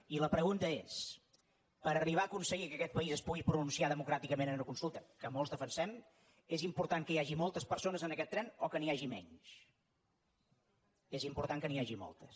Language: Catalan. i la pregunta és per arribar a aconseguir que aquest país es pugui pronunciar democràticament en una consulta que molts defensem és important que hi hagi moltes persones en aquest tren o que n’hi hagi menys és important que n’hi hagi moltes